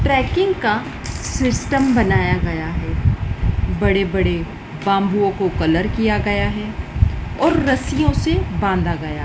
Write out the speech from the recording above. trekking का system बनाया गया है बड़े बड़े बांबूओं को कलर किया गया है और रस्सियों से बांधा गया--